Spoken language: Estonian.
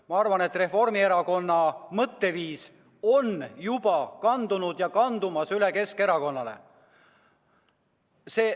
Ma arvan, et Reformierakonna mõtteviis on juba kandunud ja kandub edasi üle Keskerakonnale.